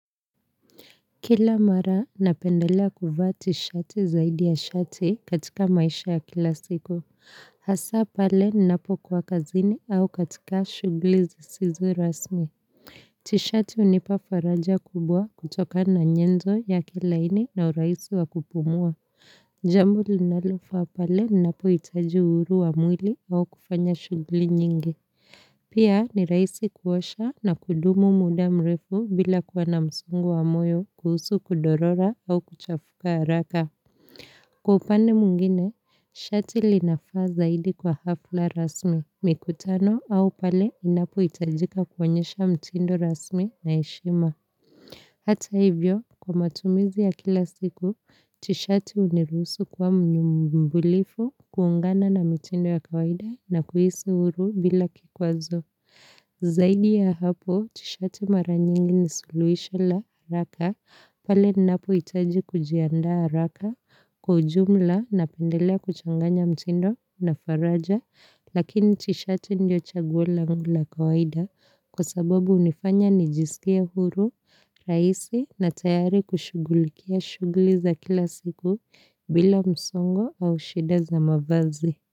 Kila mara ninapendelea kuvaa tisheti zaidi ya shati katika maisha ya kila siku. Hasa pale ninapokuwa kazini au katika shughuli zisizo rasmi. Tisheti hunipa faraja kubwa kutoka na nyenzo yake laini na urahisi wa kupumua. Jambo linalofaa pale ninapohitaji uhuru wa mwili au kufanya shughuli nyingi. Pia ni rahisi kuosha na kudumu muda mrefu bila kuwa na msongo wa moyo kuhusu kudorora au kuchafuka haraka. Kwa upande mwingine, shati linafaa zaidi kwa hafla rasmi. Mikutano au pale unapohitajika kuonyesha mtindo rasmi na heshima. Hata hivyo, kwa matumizi ya kila siku, tisheti hunirusu kuwa mbunifu, kuungana na mitindo ya kawaida, na kuhisi uhuru bila kikwazo. Zaidi ya hapo, tisheti mara nyingi ni suluhisho la haraka, pale ninapohitaji kujiandaa haraka. Kwa ujumla, ninapendelea kuchanganya mtindo na faraja, lakini tisheti ndio chaguo langu la kawaida, kwa sababu hunifanya nijisikie huru, rahisi na tayari kushughulikia shughuli za kila siku, bila msongo au shida za mavazi.